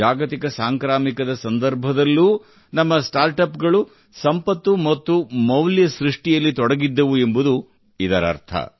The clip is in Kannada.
ಜಾಗತಿಕ ಸಾಂಕ್ರಾಮಿಕದ ಸಂದರ್ಭದಲ್ಲೂ ನಮ್ಮ ಸ್ಟಾರ್ಟ್ ಅಪ್ ಗಳು ಸಂಪತ್ತು ಮತ್ತು ಮೌಲ್ಯ ಸೃಷ್ಟಿಯಲ್ಲಿ ತೊಡಗಿದ್ದವು ಎಂಬುದು ಇದರರ್ಥ